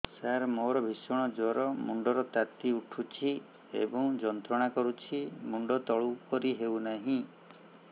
ସାର ମୋର ଭୀଷଣ ଜ୍ଵର ମୁଣ୍ଡ ର ତାତି ଉଠୁଛି ଏବଂ ଯନ୍ତ୍ରଣା କରୁଛି ମୁଣ୍ଡ ତଳକୁ କରି ହେଉନାହିଁ